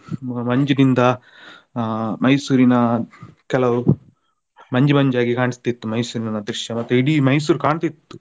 ಮಂಜಿಗಿಂತ ಆ Mysore ನ ಕೆಲವು ಮಂಜು ಮಂಜು ಆಗಿ ಕಾಣಿಸ್ತಿತ್ತು Mysore ನ ದೃಶ್ಯ ಮತ್ತೆ ಇಡೀ Mysore ಕಾಣ್ತಿತ್ತು.